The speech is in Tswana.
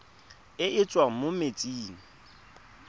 e e tswang mo metsing